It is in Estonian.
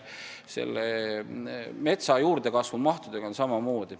Metsa juurdekasvu mahtudega on samamoodi.